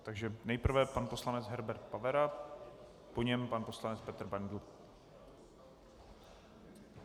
Takže nejprve pan poslanec Herbert Pavera, po něm pan poslanec Petr Bendl.